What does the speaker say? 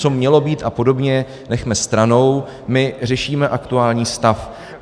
Co mělo být a podobně nechme stranou, my řešíme aktuální stav.